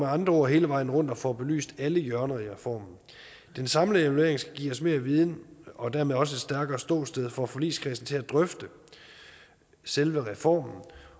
andre ord hele vejen rundt og får belyst alle hjørner i reformen den samlede evaluering skal give os mere viden og dermed også et stærkere ståsted for forligskredsen til at drøfte selve reformen